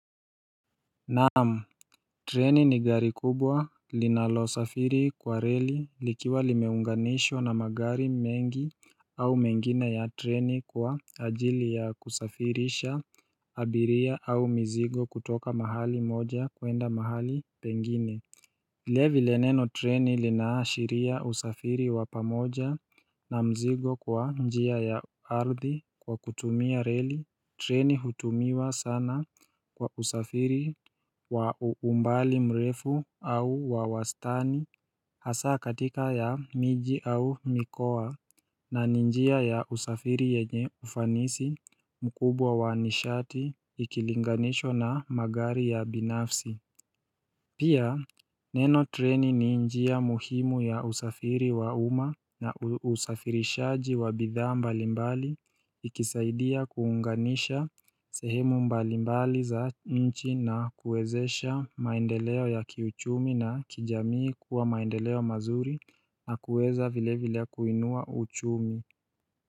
Naam, treni ni gari kubwa linalo safiri kwa reli likiwa limeunganishwa na magari mengi au mengina ya treni kwa ajili ya kusafirisha abiria au mizigo kutoka mahali moja kuenda mahali pengine vile vile neno treni linaashiria usafiri wapamoja na mzigo kwa njia ya ardhi kwa kutumia reli Treni hutumiwa sana kwa usafiri wa umbali mrefu au wawastani Hasaa katika ya miji au mikoa na ninjia ya usafiri yenye ufanisi mkubwa wa nishati ikilinganishwa na magari ya binafsi Pia neno treni ni njia muhimu ya usafiri wa uma na usafirishaji wa bidhaa mbalimbali ikisaidia kuunganisha sehemu mbalimbali za nchi na kuwezesha maendeleo ya kiuchumi na kijamii kuwa maendeleo mazuri na kuweza vile vile kuinua uchumi.